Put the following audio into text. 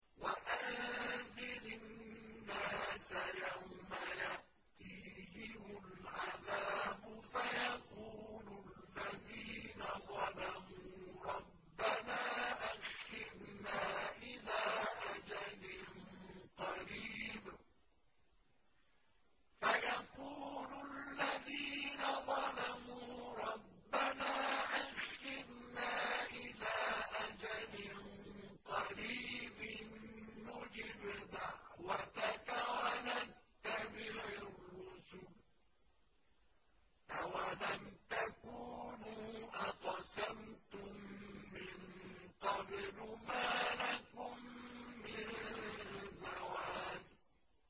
وَأَنذِرِ النَّاسَ يَوْمَ يَأْتِيهِمُ الْعَذَابُ فَيَقُولُ الَّذِينَ ظَلَمُوا رَبَّنَا أَخِّرْنَا إِلَىٰ أَجَلٍ قَرِيبٍ نُّجِبْ دَعْوَتَكَ وَنَتَّبِعِ الرُّسُلَ ۗ أَوَلَمْ تَكُونُوا أَقْسَمْتُم مِّن قَبْلُ مَا لَكُم مِّن زَوَالٍ